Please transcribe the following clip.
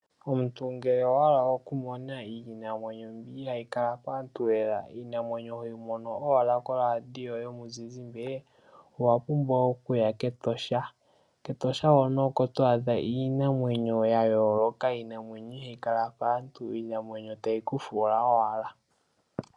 Omuntu ngele owa hala okumona iinamwenyo mbi ihaayi kala paantu lela, iinamwenyo hoyi mono owala koradio yomuzizimbe owa pumbwa okuya kEtosha, kEtosha hono oko to adha iinamwenyo ya yooloka, iinamwenyo ihaayi kala paantu iinamwenyo tayi ku fuula owala.